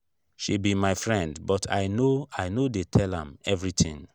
she be my friend but i no i no dey tell am everything